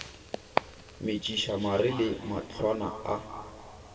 metšiša mare le mahlwana a